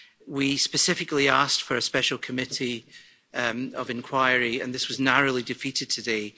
We specifically asked for a special committee of inquiry and this was narrowly defeated today.